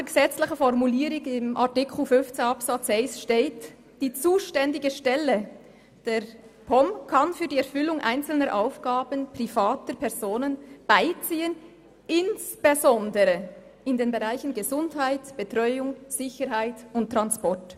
Die gesetzliche Formulierung in Artikel 15 Absatz 1 lautet: «Die zuständige Stelle der Polizei- und Militärdirektion kann für die Erfüllung einzelner Aufgaben private Personen beiziehen, insbesondere in den Bereichen Gesundheit, Betreuung, Sicherheit und Transport».